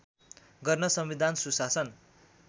गर्न संविधान सुशासन